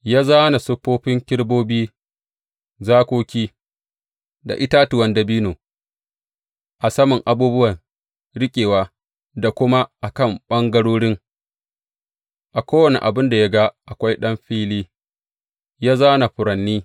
Ya zāna siffofin kerubobi, zakoki da itatuwan dabino a saman abubuwan riƙewa da kuma a kan ɓangarorin, a kowane abin da ya ga akwai ɗan fili, ya zāna furanni.